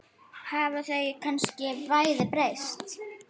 Hafa þau kannski bæði breyst?